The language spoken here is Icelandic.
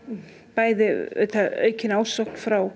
bæði aukin ásókn frá